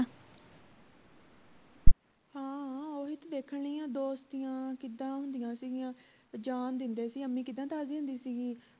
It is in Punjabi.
ਹਾਂ ਓਹੀ ਤਾਂ ਦੇਖਣ ਡਈ ਆਂ ਦੋਸਤੀਆਂ ਕਿੱਦਾਂ ਹੁੰਦੀਆਂ ਸਿਗੀਆਂ ਜਾਂ ਦਿੰਦੇ ਸੀ ਅੰਮੀ ਕਿੱਦਾਂ ਦਸਦੀ ਹੁੰਦੀ ਸੀ ਗੀ